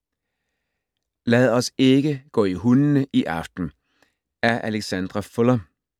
Lad os ikke gå i hundene i aften af Alexandra Fuller